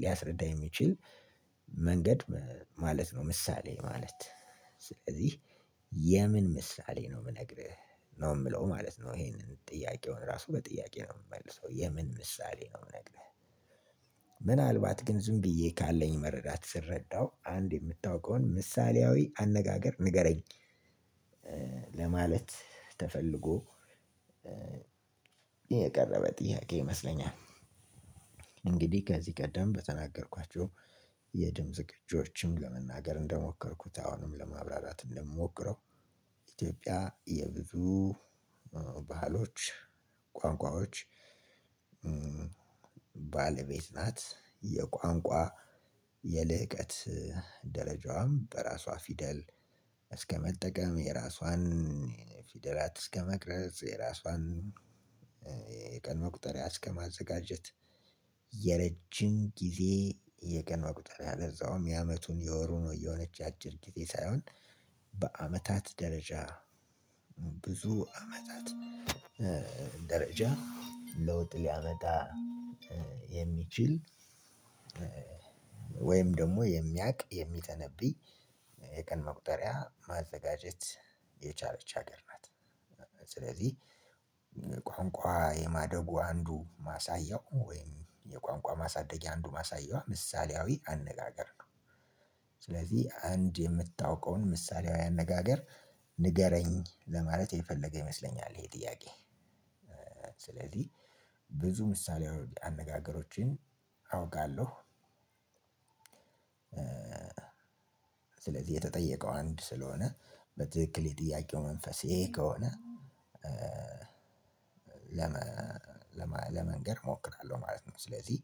ሊያስረዳ የሚችል መንገድ ማለት ነው። ምሳሌ ማለት ስለዚህ የምን ምሳሌ ነው? የምነግርህ ነው የምለው ማለት ነው። ይሄንን ጥያቄውን ራሱ በጥያቄ ነው የምመልሰው የምን ምሳሌ ነው የምነግርህ? ምናልባት ግን ዝም ብዬ ካለኝ መረዳት ስረዳው አንድ የምታውቀውን ምሳሌያዊ አነጋገር ንገረኝ? ለማለት ተፈልጎ የቀረበ ጥያቄ ይመስለኛል። እንግዲህ ከዚህ ቀደም በተናገርኳቸው የድምጽ ቅጅዎችም ለመናገር እንደሞከርኩት አሁንም ለማብራራት እንደምሞክረው ኢትዮጵያ የብዙ ባህሎች ቋንቋወች ባለቤት ናት። የቋንቋ የልህቀት ደረጃዋም እንደራሷ ፊደል እስከ መጠቀም የራሷን ፊደል እስከ መቅረጽ የራሷን የቀን መቁጠሪያ እስከማዘጋጀት የረጅም ጊዜ የቀን መቁጥር ያለውም የአመቱን የወሩ ነው እየሆነች ያጭር ጊዜ ሳይሆን በአመታት ደረጃ ብዙ አመታት ደረጃ ለውጥ ሊያመጣ የሚችል ወይም ደግሞ የሚያውቅ የሚተነብይ የቀን መቁጠሪያ ማዘጋጀት የቻለች ሀገር ናት። ስለዚህ ቋንቋ የማደጉ አንዱ ማሳያው ወይም የቋንቋ ማሳደጊያ አንዱ ማሳያዋ ምሳሌያዊ አነጋገር ነው። ስለዚህ አንድ የምታውቀውን ምሳሌያዊ አነጋገር ንገረኝ ለማለት የፈለገ ይመስለኛል ይሄ ጥያቄ። ስለዚህ ብዙ ምሳሌያዊ አነጋገሮቼን አውቃለሁ። ስለዚህ የተጠየቀው አንድ ስለሆነ በትክክል የጥያቄው መንፈሴ ይሄ ከሆነ ለመንገር እሞክራለሁ ማለት ነው። ስለዚህ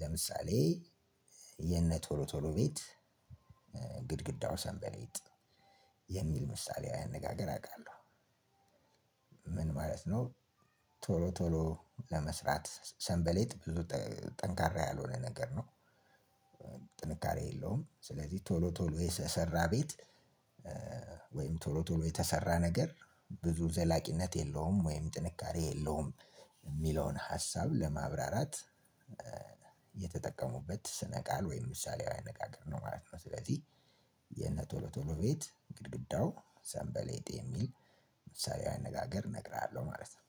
ለምሳሌ የነ ቶሎ ቶሎ ቤት ግድግዳው ሰንበሌጥ የሚል ምሳሌያዊ አነጋገር አውቃለሁ። ምን ማለት ነው? ቶሎ ቶሎ ለመስራት ሰንበሌጥ ብዙ ጠንካራ ያልሆነ ነገር ነው። ጥንካሬ የለውም ስለዚህ ቶሎ ቶሎ የሰራ ቤት ወይም ቶሎ ቶሎ የተሰራ ነገር ብዙ ዘላቂነት የለውም ወይም ጥንካሬ የለውም። የሚለውን ሀሳብ ለማብራራት የተጠቀሙበት ስነ ቃል ወይም ምሳሌያዊ አነጋገር ነው ማለት ነው። ስለዚህ የነ ቶሎ ቶሎ ቤት ግርግዳው ሰንበሌጥ የሚል ምሳሌያዊ አነጋገር እነግርሃለሁ ማለት ነው።